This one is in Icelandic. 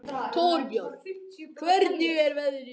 Torbjörg, hvernig er veðrið úti?